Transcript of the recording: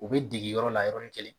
U bɛ dege yɔrɔ la yɔrɔ ni kelen.